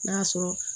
N'a y'a sɔrɔ